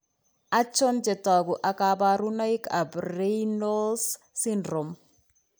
Achon chetogu ak kaborunoik ab reynolds syndrome